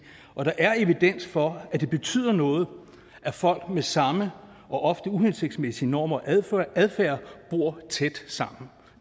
og der er evidens for at det betyder noget at folk med samme og ofte uhensigtsmæssige norm og adfærd adfærd bor tæt sammen